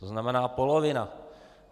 To znamená polovina.